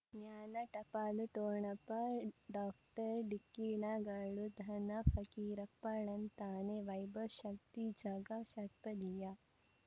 ಜ್ಞಾನ ಟಪಾಲು ಠೊಣಪ ಡಾಕ್ಟರ್ ಢಿಕ್ಕಿ ಣಗಳನು ಧನ ಫಕೀರಪ್ಪ ಳಂತಾನೆ ವೈಭವ್ ಶಕ್ತಿ ಝಗಾ ಷಟ್ಪದಿಯ